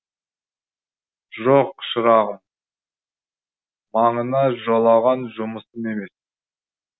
жоқ шырағым маңына жолаған жұмысым емес